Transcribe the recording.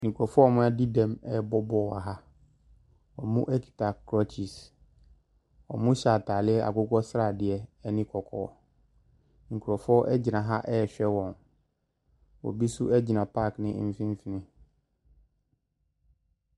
Nkorɔfoɔ a ɔmo adi dɛm ɛɛbɔ bɔɔl waha, ɔmo ɛkita krɔkyes. Ɔmo hyɛ ataaleɛ akokɔ sradeɛ ɛne kɔkɔɔ, nkorɔfoɔ ɛgyina ha ɛɛhwɛ ɔmo, obi so ɛgyina paake ne mfinfin.